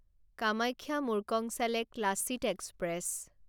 Kamakhya Murkongselek Lachit express